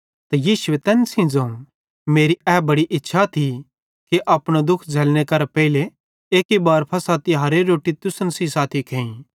ते यीशुए तैन सेइं ज़ोवं मेरी ए बड़ी इच्छा थी कि अपनो दुःख झ़ल्लने मरने करां पेइले एक्की बार फ़सह तिहारेरी रोट्टी तुसन सेइं साथी खेइ